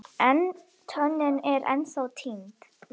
En tönnin er ennþá týnd.